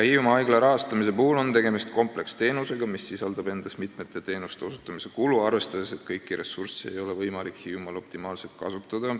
Hiiumaa haigla puhul on tegemist kompleksteenusega, mille puhul tuleb arvestada mitmete teenuste osutamise kulu, leppides tõsiasjaga, et kõiki ressursse ei ole võimalik Hiiumaal optimaalselt kasutada.